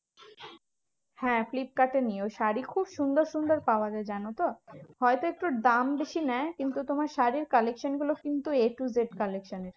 হ্যাঁ ফ্লিপকার্ডে নিও শাড়ী খুব সুন্দর সুন্দর পাওয়া যায় জানতো? হয়তো একটু দাম বেশি নেয় কিন্তু তোমার শাড়ীর collection গুলো কিন্তু a to z collection এর